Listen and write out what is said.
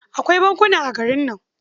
Akwai bankuna a garin.